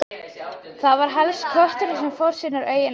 Það var helst kötturinn sem fór sínar eigin leiðir.